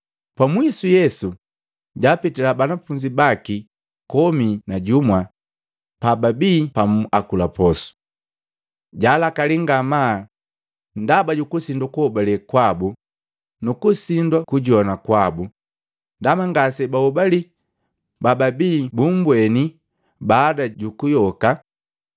Pamwisu Yesu japitila banafunzi baki komi na jumwa pababii pamu akula posu. Jalakalii ngamaa ndaba jukusinwa kuhobalee kwabu nu kusindwa kujoa kwabu, ndaba ngase baahobalii bababii bumbweni baada jukuyoka.